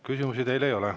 Küsimusi teile ei ole.